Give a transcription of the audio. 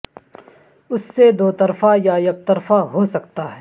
اس سے دو طرفہ یا یکطرفہ ہو سکتا ہے